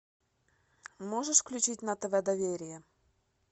можешь включить на тв доверие